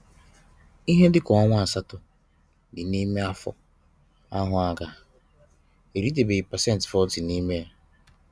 Ihe dịka ọnwa asatọ dị n'ime afọ ahụ aga, eritebeghị pasent 40 n'ime ya.